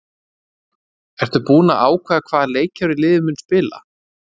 Ertu búinn að ákveða hvaða leikkerfi liðið mun spila?